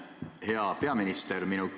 Hea peaminister!